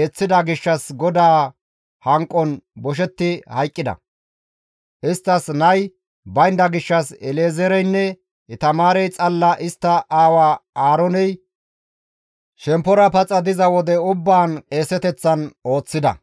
eeththida gishshas GODAA hanqon boshetti hayqqida; Isttas nay baynda gishshas El7ezeereynne Itamaarey xalla istta aawa Aarooney shemppora paxa diza wode ubbaan qeeseteththan ooththida.